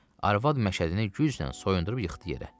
Arvad məşədini güclə soyundurub yıxdı yerə.